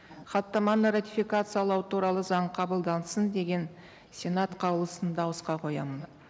хаттаманы ратификациялау туралы заң қабылдансын деген сенат қаулысын дауысқа қоямын